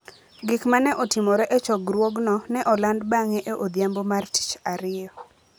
Gik ma ne otimore e chokruogno ne oland bang'e e odhiambo mar Tich Ariyo.